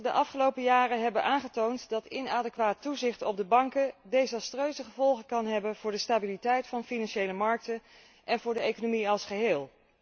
De afgelopen jaren hebben aangetoond dat inadequaat toezicht op de banken desastreuze gevolgen kan hebben voor de stabiliteit van financiële markten en voor de economie als geheel.